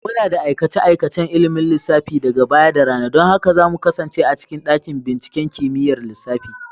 Muna da aikace-aikacen ilimin lissafi daga baya da rana. Don haka za mu kasance a cikin dakin binciken kimiyyar lissafi.